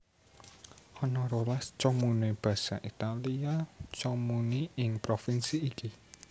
Ana rolas comune basa Italia comuni ing provinsi iki